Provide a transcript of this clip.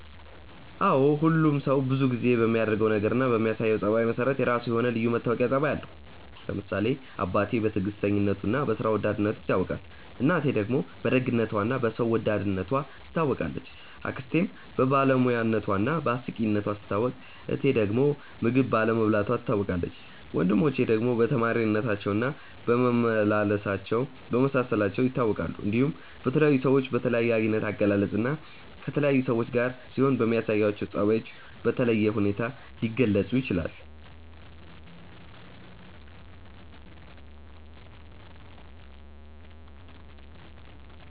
አዎ ሁሉም ሰው ብዙ ጊዜ በሚያደርገው ነገር እና በሚያሳየው ጸባይ መሰረት የራሱ የሆነ ልዩ መታወቂያ ጸባይ አለው። ለምሳሌ አባቴ በትዕግስተኝነቱ እና በስራ ወዳድነቱ ይታወቃል፣ እናቴ ደግሞ በደግነቷ እና በሰው ወዳድነቷ ትታወቃለች፣ አክስቴም በባለሙያነቷ እና በአስቂኝነቷ ስትታወቅ እህቴ ዳግም ምግብ ባለመብላቷ ትታወቃለች፣ ወንድሞቼ ደግሞ በተማሪነታቸው እና በመመሳሰላቸው ይታወቃሉ። እንዲሁም በተለያዩ ሰዎች በተለያየ አይነት አገላለጽ እና ከተለያዩ ሰዎች ጋር ሲሆኑ በሚያሳዩአቸው ጸባዮች በተለየ ሁኔታ ሊገለጹ ይችላል።